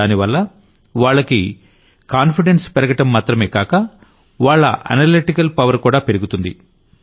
దానివల్ల వాళ్లకి కాన్ఫిడెన్స్ పెరగడం మాత్రమే కాక వాళ్ల అనలెటికల్ పవర్ కూడా పెరుగుతుంది